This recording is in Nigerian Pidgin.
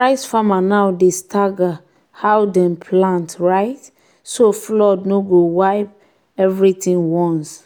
rice farmers now dey stagger how dem plant um so flood no go wipe um everything once.